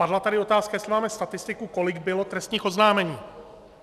Padla tady otázka, jestli máme statistiku, kolik bylo trestních oznámení.